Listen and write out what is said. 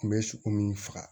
Kun bɛ sogo min faga